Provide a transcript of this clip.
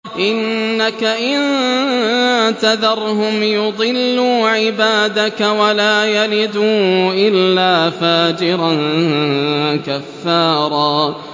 إِنَّكَ إِن تَذَرْهُمْ يُضِلُّوا عِبَادَكَ وَلَا يَلِدُوا إِلَّا فَاجِرًا كَفَّارًا